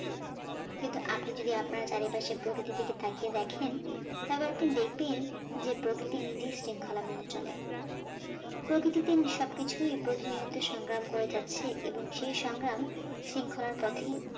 কিন্তু আপনি যদি আপনার চারিপাশে প্রকৃতির দিকে তাকিয়ে দেখেন, তাহলে আপনি দেখবেন যে প্রকৃতি নিধির শৃঙ্খলা মেনে চলে। প্রতিটি দিন সব কিচ্ছুই প্রতিনিয়ত সংগ্রাম হয়ে যাচ্ছে এবং সেই সংগ্রাম, শৃঙ্খলার পথেই